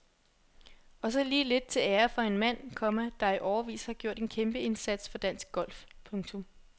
Og så lige lidt til ære for en mand, komma der i årevis har gjort en kæmpeindsats for dansk golf. punktum